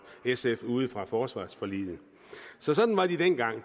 sf ude fra forsvarsforliget så sådan var de dengang